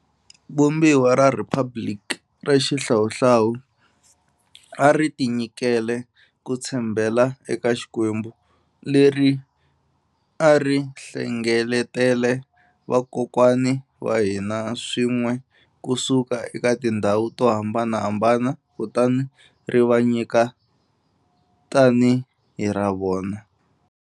Vumbiwa ra rhiphabiliki ra xihlawuhlawu a ri tinyikele ku tshembela eka Xikwembu, leri a ri hlengeletele vakokwani wa hina swin'we ku suka eka tindhawu to hambanahambana kutani ri va nyika tanihi hi ra vona.